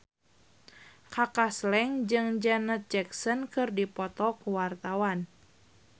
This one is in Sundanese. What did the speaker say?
Kaka Slank jeung Janet Jackson keur dipoto ku wartawan